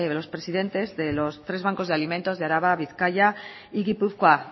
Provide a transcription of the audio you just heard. los presidentes de los tres bancos de alimentos de araba bizkaia y gipuzkoa